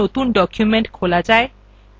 calca কিভাবে একটি নতুন document খোলা যায়